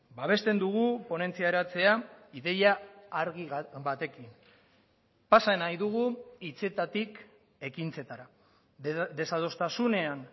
babesten dugu ponentzia eratzea ideia argi batekin pasa nahi dugu hitzetatik ekintzetara desadostasunean